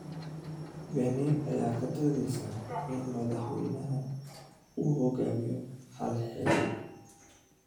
Benin ayaa ka doodeysa in madaxweynaha uu hogaamiyo hal xilli